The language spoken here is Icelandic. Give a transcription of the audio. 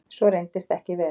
Svo reyndist ekki vera